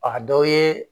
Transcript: A dɔ ye